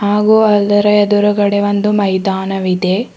ಹಾಗು ಅದರ ಎದುರುಗಡೆ ಒಂದು ಮೈದಾನವಿದೆ.